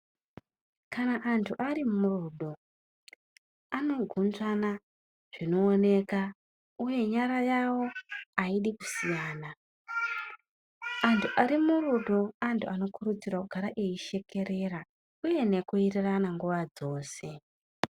Kana anthu arimurudo anogondana zvinooneka uye nyara yavo aidi kusiyana uye vanthu vari murudo anthu anokurudzirwa kugara eishekerera uye nekuwirirana nguwa dzeshe.